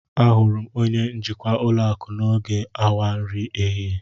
Ahụrụ m onye njikwa ulo aku n'oge awa nri ehihie